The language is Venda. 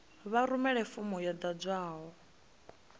vha rumele fomo yo ḓadzwaho